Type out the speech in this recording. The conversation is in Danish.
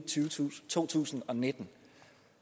to tusind og nitten